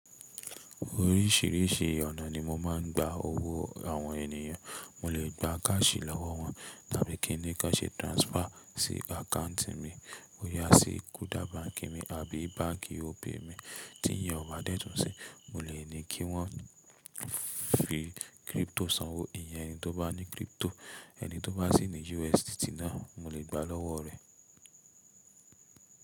Oríṣìíríṣìí ọ̀nà ni mo máa ń gba owó àwọn ènìyàn. Mo lè gba káàṣì lọwọ wọn tàbí kí n ní kánṣe transfer sí account mi. Ó yá sí Kuda báǹkì mi àbí báǹkì Opay mi. Tí yẹn ò bá dẹ̀tún se, mo lè ní kí wọ́n fi crypto sanwó. Ìyẹn ẹni tó bá ní crypto, ẹni tó bá sì ní USDT náà, mo lè gba lọ́wọ́ rẹ̀.